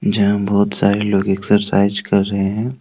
जहां बहुत सारे लोग एक्सरसाइज कर रहे हैं।